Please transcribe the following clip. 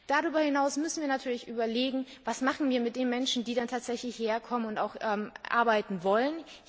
Darüber hinaus müssen wir uns natürlich überlegen, was machen wir mit den Menschen, die tatsächlich herkommen und arbeiten wollen.